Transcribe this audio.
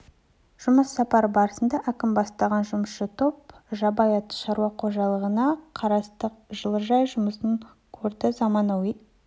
жұмыс сапары барысында әкім бастаған жұмысшы топ жабай ата шаруа қожалығына қарасты жылыжай жұмысын көрді заманауи